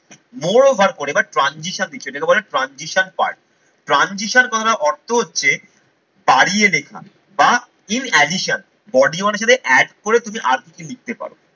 more over করে এবার transition দিচ্ছ যেটাকে বলে transition part. Transition কথা অর্থ হচ্ছে বাড়িয়ে লেখা বা in additional body মানে হছে add করে তুমি আর কিছু লিখতে পারো।